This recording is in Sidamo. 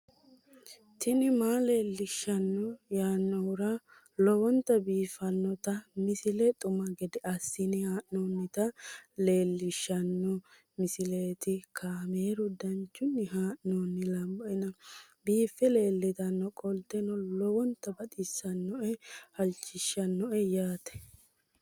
tini maa leelishshanno yaannohura lowonta biiffanota misile xuma gede assine haa'noonnita leellishshanno misileeti kaameru danchunni haa'noonni lamboe biiffe leeeltannoqolten lowonta baxissannoe halchishshanno yaate